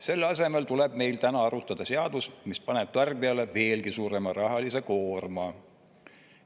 Selle asemel tuleb meil täna arutada seadusr, mis paneb tarbijale veelgi suurema rahalise koorma.